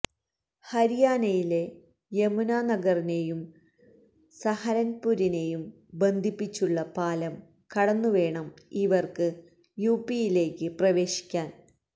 ഹരിയാനയിലെ യമുനാനഗറിനെയും സഹരൻപ്പുരിനെയും ബന്ധിപ്പിച്ചുള്ള പാലം കടന്നുവേണം ഇവർക്ക് യുപിയിലേക്ക് പ്രവേശിക്കാൻ